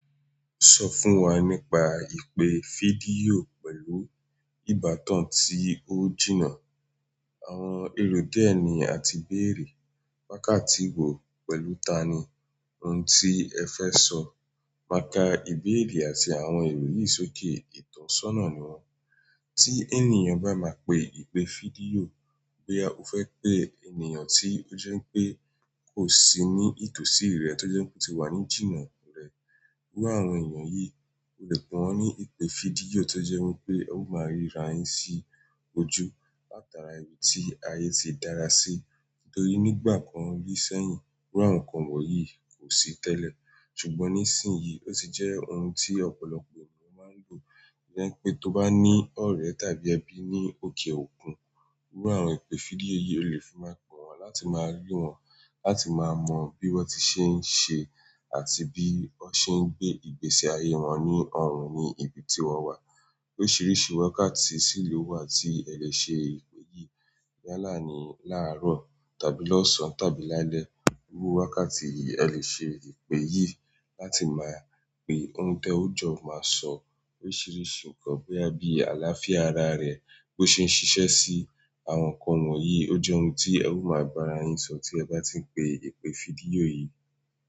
Sọ fún wa nípa ìpè fídíò pẹ̀lú ìbátan tí ó jìnnà, àwọn èrò dié ni àti béèrè, wákàtí wo pẹ̀lú tani, ohun tí ẹ fẹ́ sọ, máka ìbéèrè àti àwọn èrò yìí sókè. Ìtàn sọ́nà ni wọ́n. Ti ènìyàn ba má pe ìpè fídíò, boya o fe pe ènìyàn ti o je wípé ko si ni it òsì rẹ to je pe oti wa ni jìnà wíwá àwọn ènìyàn yìí, o lè pe wọ́n ní ìpè fídíò tó jẹ́ wípé e ó máa rí ra yín sí ojú làtàrà ibi tí ayé ti dára sí. Nítorí nígbà kan rí sẹ́yìn, iru àwọn kan wọ̀nyí kò sí tẹ́lẹ̀. Ṣùgbọ́n nísìnyí ó ti jẹ́ ohun tí ọ̀pọ̀lọpọ̀ ènìyàn máa ń lò. O je wipé tó bá ní ọ̀rẹ́ tàbí ẹbí ní òkè òkun, iru àwọn ìpè fídíò yìí o lè fi máa pe wọ́n láti máa rí wọ́n, láti máa mọ bí wọ́n ti ṣe ń ṣe àti bí wọ́n ṣe ń gbé ìgbésí ayé wọn ní ọ̀hùn ní ibi tí wọ́n wà. Oríṣìíríṣìí wákàtí sì ló wà tí ẹ lè ṣe ìpè yìí. Bí àlá ni láàárọ̀ tàbí lọ́sàn tàbí lálẹ́. Iru wákàtí yi a lè ṣe ìpè yìí láti máa pe ohun te o jọ máa sọ oríṣìíríṣìí ǹkan boya bi alááfíà ara rẹ̀, bí ó ṣe ń ṣiṣẹ́ sí àwọn kan wọ̀nyí ó jẹ́ ohun tí ẹ máa ba ra yín sọ tí ẹ bá ti ń pe ìpè fídíò yìí.